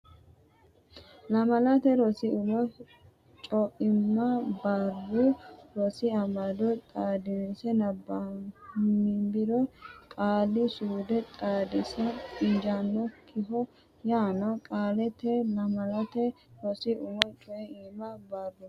Lamalate Rosi Umo Co imma Barru Rosi Amado xaadinse nabbambiro Qaali suude Xaadisa injaannokkiho yaanno qaaleeti Lamalate Rosi Umo Co imma Barru.